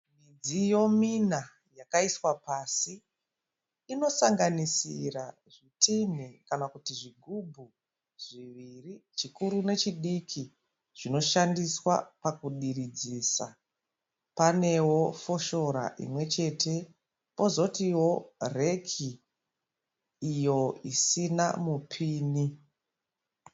Midziyo mina yakaiswa pasi inosanganisira zvitinhi kana kuti zvigubhu zviviri chikuru nechidiki zvinoshandiswa pakudiridzisa. Panewo foshora imwe chete pozotiwo reki iyo isina mupini.